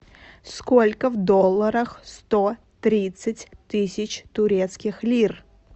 сколько в долларах сто тридцать тысяч турецких лир